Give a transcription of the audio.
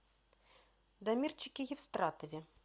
дамирчике евстратове